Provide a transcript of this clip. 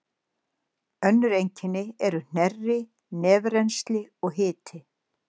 Önnur einkenni eru hnerri, nefrennsli og hiti.